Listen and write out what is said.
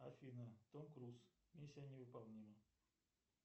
афина том круз миссия невыполнима